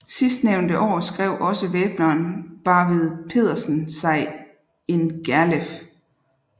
Sidstnævnte år skrev også væbneren Barvid Pedersen sig in Gerleff